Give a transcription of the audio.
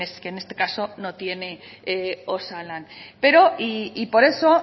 que en este caso no tiene osalan pero y por eso